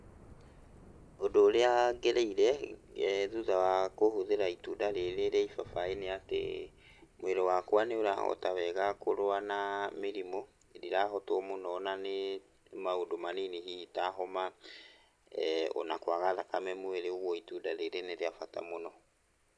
Ũndũ ũrĩa ngereire ]thutha wa kũhũthĩra itunda rĩrĩ rĩa ibabaĩ nĩ atĩ mwĩrĩ wakwa nĩũrahota wega kũrũa na mĩrimũ, ndirahotwo mũno na nĩ maũndũ manini hihi ta homa[eh] ona kwaga thakame mwĩrĩ, ũguo itunda rĩrĩ nĩ rĩa bata mũno.